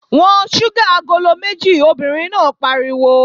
Wọ́n ṣúgà agolo méjì! Obìnrin náà pariwo.